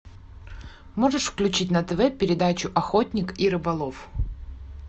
можешь включить на тв передачу охотник и рыболов